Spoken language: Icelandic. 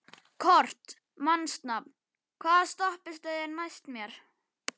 Kort (mannsnafn), hvaða stoppistöð er næst mér?